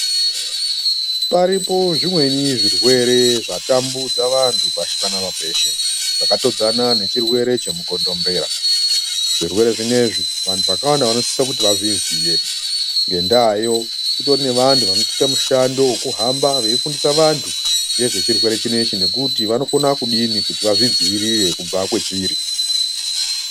Paripo zvimweni zvirwere zvatambudza vantu pashi panapa peshe zvakatodzana nechirwere chemukondo mbera Zvirwere zvinezvi vantu vakawanda vanosisa kuti vadziziye Ngendayo kutori nevanhu vanoita mishando yekuhamba veifundisa vantu nezvechirwere chinechi nekuti vanokona kudini kuti vazvidzivirire kubva kwachiri.